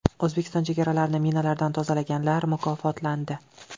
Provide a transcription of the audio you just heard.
O‘zbekiston chegaralarini minalardan tozalaganlar mukofotlandi.